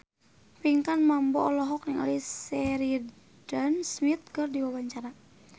Pinkan Mambo olohok ningali Sheridan Smith keur diwawancara